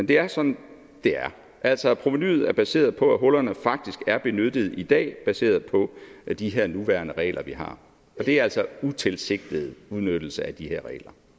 det er sådan det er altså at provenuet er baseret på at hullerne faktisk er benyttet i dag baseret på de her nuværende regler vi har og det er altså utilsigtet udnyttelse af de her regler